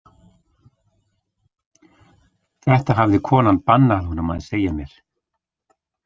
Þetta hafði konan bannað honum að segja mér.